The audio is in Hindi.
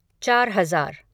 चार हज़ार